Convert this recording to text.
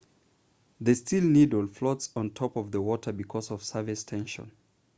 the steel needle floats on top of the water because of surface tension